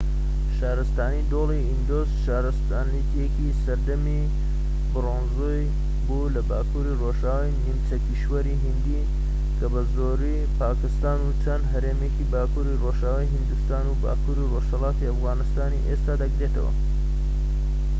شارستانی دۆڵی ئیندوس شارستانیەتێکی سەردەمی برۆنزی بوو لە باکووری ڕۆژئاوای نیمچە کیشوەری هیندی کە زۆربەی پاکستان و چەند هەرێمێکی باکووری ڕۆژئاوای هیندستان و باکووری ڕۆژهەڵاتی ئەفغانستانی ئێستا دەگرێتەوە